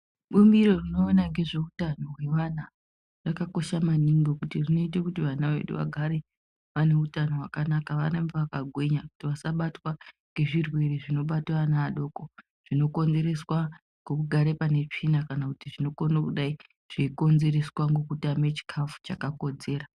Bumbiro rinoona ngezveutano hwevana rakakosha maningi ngekuti rinoite kuti vana vedu vagare vane utano hwakanaka varambe vakagwinya kuti vasabatwa ngezvirwere zvinobata vana vadoko zvinokonzereswa ngekugare pane tsvina kana kuti zvinokone kudai zveukonzereswa nekutame chikafu chakakodzera